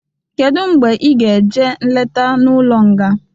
Kedụ mgbe ị ga-eje nleta n'ụlọ nga?